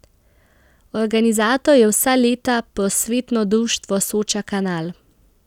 Organizator je vsa leta Prosvetno društvo Soča Kanal.